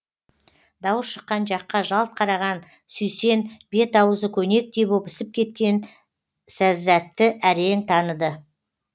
дауыс шыққан жаққа жалт қараған сүйсен бет ауызы көнектей боп ісіп кеткен сәззәтті әрең таныды